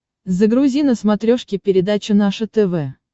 загрузи на смотрешке передачу наше тв